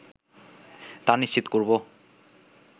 তা নিশ্চিত করবো